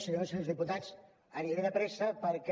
senyores i senyors diputats aniré de pressa perquè